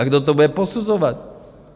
A kdo to bude posuzovat?